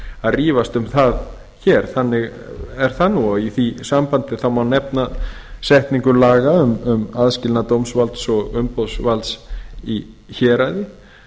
að rífast um það hér þannig er það nú í því sambandi má nefna setningu laga um aðskilnað dómsvalds og umboðsvalds í héraði